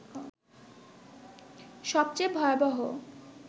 সবচেয়ে ভয়াবহ